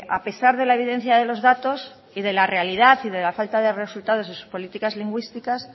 a pesar de la evidencia de los datos y de la realidad y de la falta de resultados de sus políticas lingüísticas